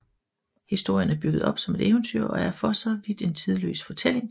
Historien er bygget op som et eventyr og er for så vidt en tidløs fortælling